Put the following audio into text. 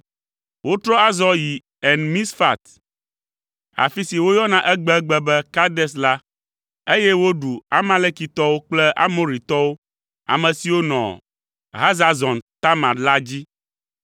Wotrɔ azɔ yi En Misfat (afi si woyɔna egbegbe be Kades la), eye woɖu Amalekitɔwo kple Amoritɔwo, ame siwo nɔ Hazazon Tamar la dzi.